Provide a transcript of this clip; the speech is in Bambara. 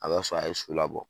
A b'a sɔrɔ a ye so labɔ.